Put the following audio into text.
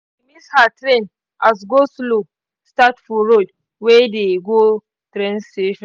she miss her train as go-slow start for road wey dey go train station.